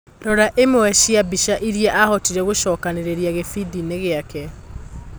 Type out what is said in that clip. Rora imwe cia mbica iria ahotire gũcokanĩrĩria gĩbindiinĩ gĩake.